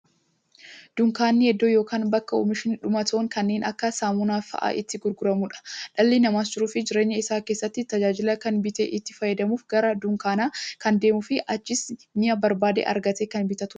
Dunkaanni iddoo yookiin bakka oomishni dhumatoon kanneen akka saamunaa faa'a itti gurguramuudha. Dhalli namaas jiruuf jireenya isaa keessatti, tajaajila kana bitee itti fayyadamuuf, gara dunkaanaa kan deemuufi achiis mi'a barbaade argatee kan bitatuudha.